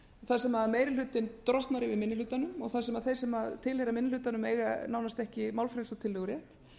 þar sem meiri hlutinn drottnar yfir minni hlutanum og þar sem þeir sem tilheyra minni hlutanum eiga nánast ekki málfrelsi og tillögurétt